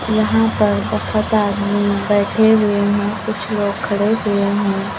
यहां पर बहुत आदमी बैठे हुए हैं कुछ लोग खड़े हुए हैं।